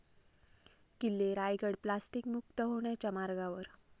किल्ले रायगड प्लास्टिकमुक्त होण्याच्या मार्गावर